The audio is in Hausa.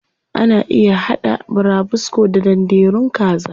Ana iya haɗa burabusko da danderun kaza.